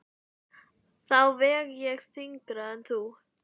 Þá veg ég þyngra en þú.